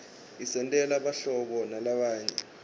isentela buhlobo nalabanye